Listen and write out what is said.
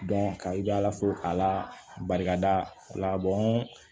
ka i bɛ ala fo k'ala barika da ala bɔn